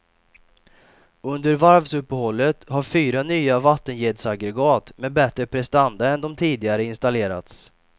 Under varvsuppehållet har fyra nya vattenjetsaggregat med bättre prestanda än de tidigare installerats.